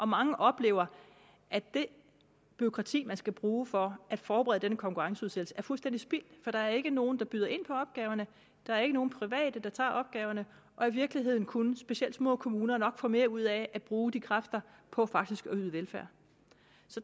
mange oplever at det bureaukrati man skal bruge for at forberede denne konkurrenceudsættelse er fuldstændig spildt for der er ikke nogen der byder ind på opgaverne der er ikke nogen private der tager opgaverne og i virkeligheden kunne specielt små kommuner nok få mere ud af at bruge de kræfter på faktisk at yde velfærd